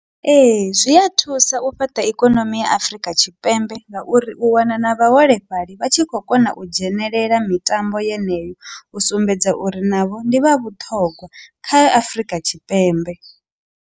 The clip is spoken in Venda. Ee, zwi a thusa u fhaṱa ikonomi ya Afurika Tshipembe ngauri u wana na vhaholefhali vha tshi khou kona u dzhenelela mitambo yeneyo u sumbedza uri navho ndi vha vhuṱhogwa kha Afurika Tshipembe.